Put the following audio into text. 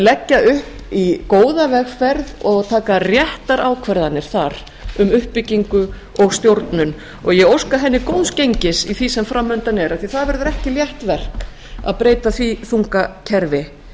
leggja upp í góða vegferð og taka réttar ákvarðanir þar um uppbyggingu og stjórnum og ég óska henni góðs gengis í því sem framundan er af því það verður ekki létt verk að breyta því þunga kerfi